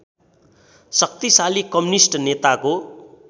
शक्तिशाली कम्युनिष्ट नेताको